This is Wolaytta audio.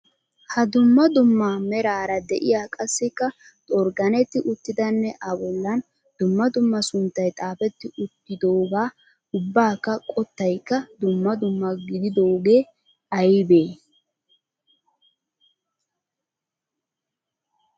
Ha dumma dumma meraara de'iya qassikka xorgganetti uttidanne A bollan dumma dumma sunttay xaafetti uttidoogaa ubbakka qottaykka dumma dumma gididoogee aybee?